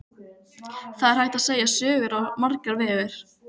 Það er hægt að segja sögur á svo marga vegu.